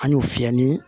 An y'o fiyɛ ni